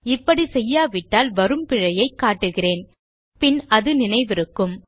இப்படி செய்யாவிட்டால் வரும் பிழையை காட்டுகிறேன் பின் அது நினைவிருக்கும்